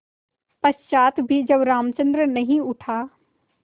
पश्चार भी जब रामचंद्र नहीं उठा